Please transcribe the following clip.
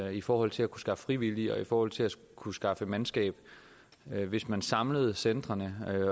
i forhold til at kunne skaffe frivillige og i forhold til at kunne skaffe mandskab hvis man samlede centrene